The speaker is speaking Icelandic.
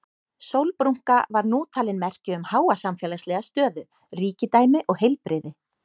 Sólbrúnka var nú talin merki um háa samfélagslega stöðu, ríkidæmi og heilbrigði.